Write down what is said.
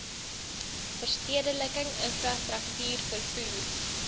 verstedeliking infrastruktuur vervoer